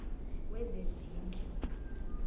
wezezindlu